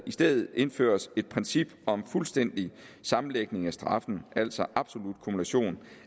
i stedet indføres et princip om fuldstændig sammenlægning af straffen altså absolut kumulation